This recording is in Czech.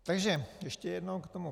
Takže ještě jednou k tomu.